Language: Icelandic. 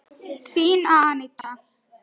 Þín, Aníta.